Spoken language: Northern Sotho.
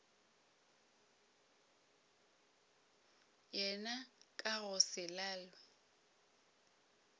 yena ka go se lalwe